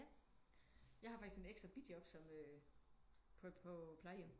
Jeg har faktisk et ekstra bijob som øh på på plejehjem